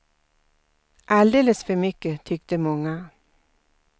Alldeles för mycket, tyckte många.